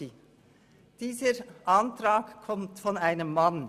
Dieser Antrag kommt von einem Mann.